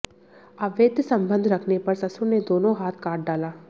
अवैध संबंध रखने पर ससुर ने दोनों हाथ काट डाला